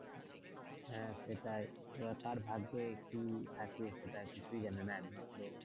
হ্যাঁ সেটাই এবার কার ভাগ্যে কি আছে সেটা কিছুই জানে না।